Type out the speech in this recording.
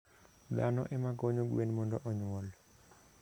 Dhano ema konyo gwen mondo onyuol.